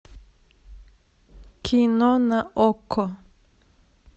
кино на окко